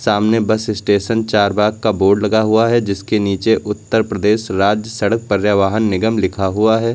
सामने bus station Charbagh का board लगा हुआ है जिसके नीचे उत्तर प्रदेश राज्य सड़क पर्यावहन निगम लिखा हुआ है।